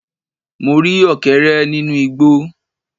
Mo rí Ọ̀kẹ́rẹ́ nínú igbó